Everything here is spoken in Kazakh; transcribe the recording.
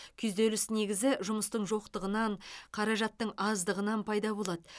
күйзеліс негізі жұмыстың жоқтығынан қаражаттың аздығынан пайда болады